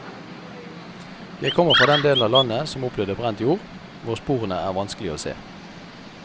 Jeg kommer fra den delen av landet som opplevde brent jord, hvor sporene er vanskelige å se.